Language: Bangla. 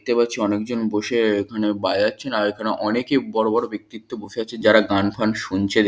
দেখতে পাচ্ছি অনেকজন বসে এখানে বাজাচ্ছেন আর এখানে অনেকেই বড় বড় ব্যক্তিত্ব বসে আছেন যারা গান ফান শুনছে।